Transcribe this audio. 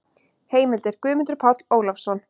Heimildir: Guðmundur Páll Ólafsson.